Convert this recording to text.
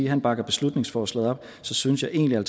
han bakker beslutningsforslaget op så synes jeg egentlig at